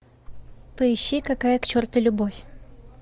поищи какая к черту любовь